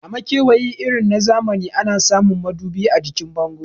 A makewayi irin zamani ana samun madubi a jikin bango